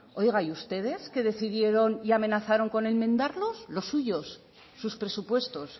oiga y ustedes que decidieron y amenazaron con enmendarlos los suyos sus presupuestos